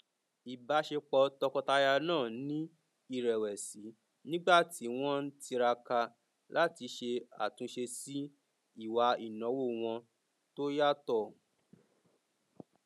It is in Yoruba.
ìbáṣepọ tọkọtaya náà ni irẹwẹsì nígbà tí wọn ń tiraka láti ṣe àtúnṣe sí ìwà ináwó wọn tó yàtọ